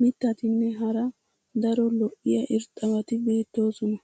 mitatinne hara daro lo'iya irxxabati beetoosona.